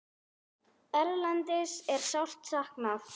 Erlends er sárt saknað.